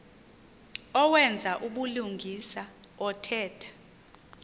owenza ubulungisa othetha